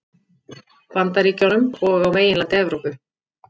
Bandaríkjunum og á meginlandi Evrópu.